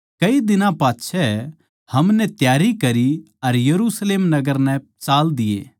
कई दिनां पाच्छै हमनै त्यारी करी अर यरुशलेम नगर नै चाल दिए